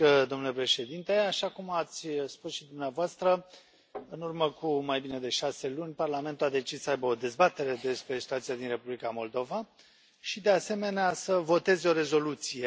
Domnule președinte, așa cum ați spus și dumneavoastră, în urmă cu mai bine de șase luni, Parlamentul a decis să aibă o dezbatere despre situația din Republica Moldova și, de asemenea, să voteze o rezoluție.